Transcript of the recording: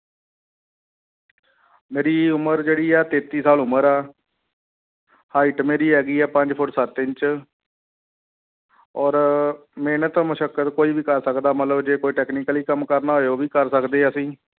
ਮੇਰੀ ਉਮਰ ਜਿਹੜੀ ਹੈ ਤੇਤੀ ਸਾਲ ਉਮਰ ਆ height ਮੇਰੀ ਹੈਗੀ ਹੈ ਪੰਜ ਫੁੱਟ ਸੱਤ ਇੰਚ ਔਰ ਮਿਹਨਤ ਮੁਸ਼ਕਤ ਕੋਈ ਵੀ ਕਰ ਸਕਦਾ ਮਤਲਬ ਜੇ ਕੋਈ technically ਕੰਮ ਕਰਨਾ ਹੋਵੇ ਉਹ ਵੀ ਕਰ ਸਕਦੇ ਹਾਂ ਅਸੀਂ।